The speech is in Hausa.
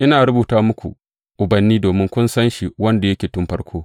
Ina rubuta muku, ubanni, domin kun san shi wanda yake tun farko.